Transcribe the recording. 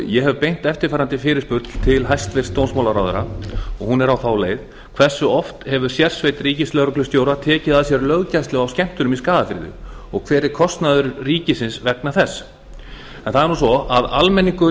ég hef beint eftirfarandi fyrirspurn til hæstvirts dómsmálaráðherra og hún er á þá leið hversu oft hefur sérsveit ríkislögreglustjóra tekið að sér löggæslu á skemmtunum í skagafirði og hver er kostnaður ríkisins vegna þessa almenningur